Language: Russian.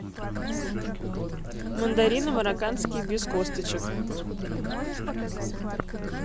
мандарины марокканские без косточек